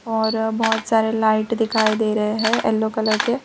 और बहोत सारे लाइट दिखाई दे रहे है येलो कलर के --